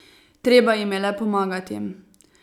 Treba jim je le pomagati.